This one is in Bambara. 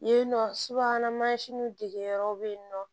Yen nɔ subahana mansinw degeyɔrɔ bɛ yen nɔ